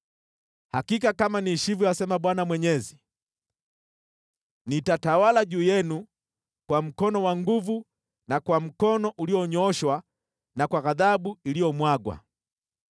Hakika kama niishivyo asema Bwana Mwenyezi, nitatawala juu yenu kwa mkono wa nguvu na kwa mkono ulionyooshwa na kwa ghadhabu iliyomwagwa.